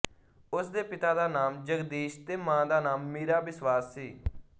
ਉਸਦੇ ਪਿਤਾ ਦਾ ਨਾਮ ਜਗਦੀਸ਼ ਤੇ ਮਾਂ ਦਾ ਨਾਮ ਮੀਰਾ ਬਿਸਵਾਸ ਸੀ